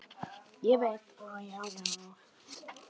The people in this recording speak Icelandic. Ég veit það, já, já.